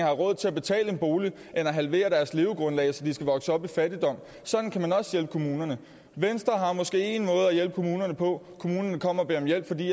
råd til at betale en bolig i stedet at halvere deres levegrundlag så de skal vokse op i fattigdom sådan kan man også hjælpe kommunerne venstre har måske én måde at hjælpe kommunerne på kommunerne kommer og beder om hjælp fordi